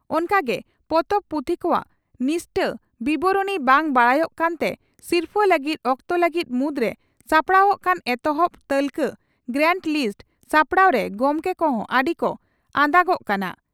ᱚᱱᱠᱟᱜᱮ ᱯᱚᱛᱚᱵ/ᱯᱩᱛᱷᱤ ᱠᱚᱣᱟᱜ ᱱᱤᱥᱴᱟᱹ ᱵᱤᱵᱚᱨᱚᱬᱤ ᱵᱟᱝ ᱵᱟᱰᱟᱭᱚᱜ ᱠᱟᱱᱛᱮ ᱥᱤᱨᱯᱷᱟᱹ ᱞᱟᱹᱜᱤᱫ ᱚᱠᱛᱚ ᱞᱟᱹᱜᱤᱫ ᱢᱩᱫᱽᱨᱮ ᱥᱟᱯᱲᱟᱣᱚᱜ ᱠᱟᱱ ᱮᱛᱚᱦᱚᱵ ᱛᱟᱹᱞᱠᱟ (ᱜᱨᱟᱣᱱᱰ ᱞᱤᱥᱴ) ᱥᱟᱯᱲᱟᱣ ᱨᱮ ᱜᱚᱢᱠᱮ ᱠᱚᱦᱚᱸ ᱟᱹᱰᱤ ᱠᱚ ᱟᱫᱟ ᱜᱚᱜ ᱠᱟᱱᱟ ᱾